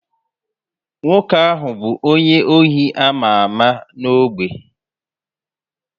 Nwoke ahụ bu onye ọchị ama ámá n' ogbe